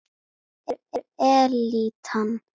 Hverjir eru elítan?